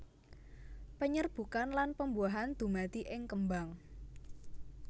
Penyerbukan lan pembuahan dumadi ing kembang